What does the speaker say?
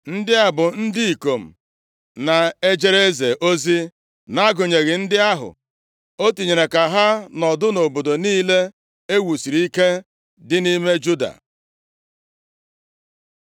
Ndị a bụ ndị ikom na-ejere eze ozi, nʼagụnyeghị ndị ahụ o tinyere ka ha nọdụ nʼobodo niile e wusiri ike dị nʼime Juda.